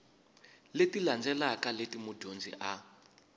leti landzelaka leti mudyondzi a